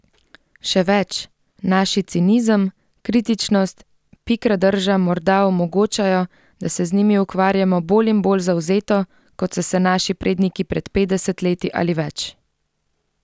Še več, naši cinizem, kritičnost, pikra drža morda omogočajo, da se z njimi ukvarjamo bolj in bolj zavzeto, kot so se naši predniki pred petdeset leti ali več.